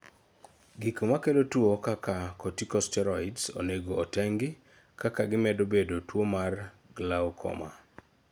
gik makelo tuo kaka, corticosteroids onego otengi, kaka gimedo bedo tuo mar glaucoma